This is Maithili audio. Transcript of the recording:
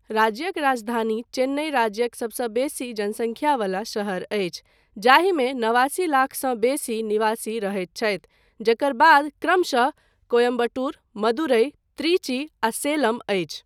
राज्यक राजधानी चेन्नइ राज्यक सबसँ बेसी जनसङ्ख्यावला शहर अछि जाहिमे नवासी लाखसँ बेसी निवासी रहैत छथि जकर बाद क्रमशः कोयम्बटूर, मदुरै, त्रिची आ सलेम अछि।